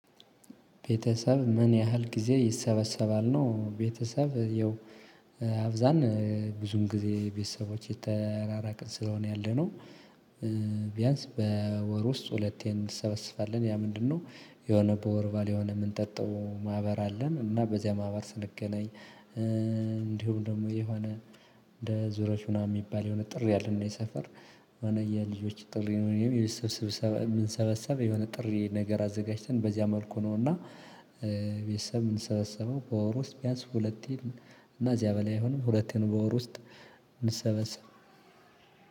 ቤተሰብ ምን ያህል ጊዜ ይሰበሰባል ነው? ቤተሰብ ይኸው አብዛን ብዙም ጊዜ ቤተሰቦቼ ተራራቅን ስለሆነ ያለነው። ቢያንስ በወር ውስጥ ሁለቴ እንሰበስባለን ያ ምንድነው? የሆነ በወር ባል የሆነ የምንጠጣው ማህበር አለን። እና በዚያ ማህበር ስንገናኝ እንዲሁም ደግሞ የሆነ እንደ ዙሮሽ ምናምን የሚባል የሆነ ጥሪ አለ። እና የሰፈር የሆነ የልጆች ጥሪ ነው የምንሰበሰበው የሆነ ጥሪ ነገር አዘጋጅተን በዚያ መልኩ ነውና። ቤተሰብ የምንሰበሰበው በወር ውስጥ ቢያንስ ሁለቴ እና እዚያ በላይ አይሆንም ሁለቴን በወር ውስጥ። ምንሰበሰበው